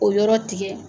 O yɔrɔ tigɛ